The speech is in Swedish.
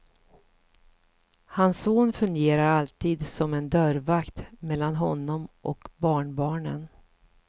Hans son fungerar alltid som en dörrvakt mellan honom och barnbarnen.